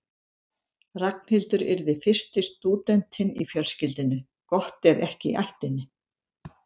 Ragnhildur yrði fyrsti stúdentinn í fjölskyldunni, gott ef ekki í ættinni.